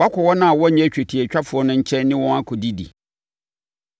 “Woakɔ wɔn a wɔnnyɛ twetiatwafoɔ no nkyɛn ne wɔn akɔdidi.”